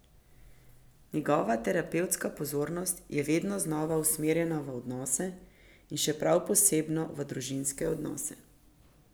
Njegova terapevtska pozornost je vedno znova usmerjena v odnose in še prav posebno v družinske odnose.